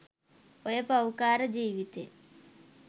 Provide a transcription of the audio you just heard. ඔය පව්කාර ජීවිතෙන්